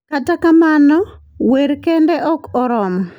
Kata kamano, wer kende ok oromo.